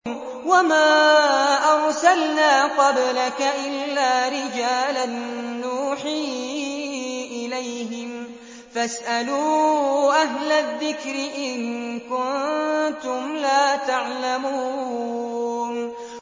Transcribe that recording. وَمَا أَرْسَلْنَا قَبْلَكَ إِلَّا رِجَالًا نُّوحِي إِلَيْهِمْ ۖ فَاسْأَلُوا أَهْلَ الذِّكْرِ إِن كُنتُمْ لَا تَعْلَمُونَ